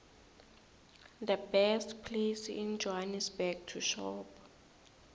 the best place in johannesburg to shop